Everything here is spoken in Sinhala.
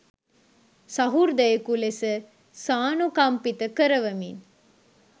සහෘදයෙකු ලෙස සානුකම්පිත කරවමින්